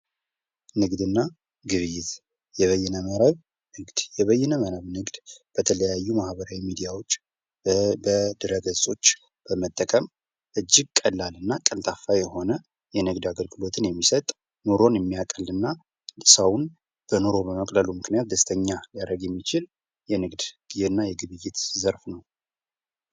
ንግድ እና ግብይት የበይነ መረብ ንግድ። የበይነ መርም ንግድ የተለያዩ ማህበራዊ ሚዲያዎች፣ በድህረ ገጾች በመጠቀም እጅግ ቀላል እና ቀልጣፋ የሆነ የንግድ አገልግሎትን የሚሰጥ ኑሮውን የሚያቀል እና ሰውን ኑሮ በመቅለሉ ምክንያት ደስተኛ ሊያደርግ የሚችል የንግድ እና የግብይት ዘርፍ ነው።